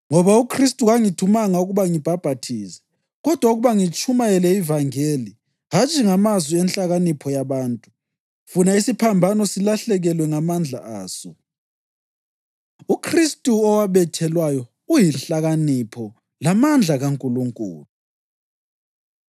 Ngoba uKhristu kangithumanga ukuba ngibhaphathize kodwa ukuba ngitshumayele ivangeli, hatshi ngamazwi enhlakanipho yabantu, funa isiphambano silahlekelwe ngamandla aso. UKhristu Owabethelwayo UyiNhlakanipho LaMandla KaNkulunkulu